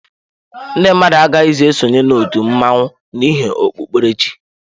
Ndị mmadụ agaghịzi esonye na otu mmanwu n'ihi okpukpere chi.